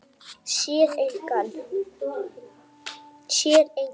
Sér engan.